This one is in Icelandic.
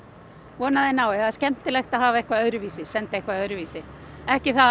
vona að þeir nái það er skemmtilegt að hafa eitthvað öðruvísi senda eitthvað öðruvísi ekki það